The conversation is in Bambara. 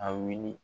A wuli